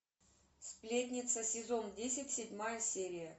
сплетница сезон десять седьмая серия